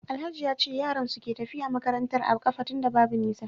Alhaji yace yaran suke tafiya makarantar a kafa tunda Babu nisa